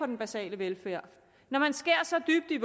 den basale velfærd når man skærer så dybt i